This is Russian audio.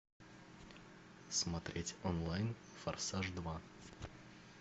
смотреть онлайн форсаж два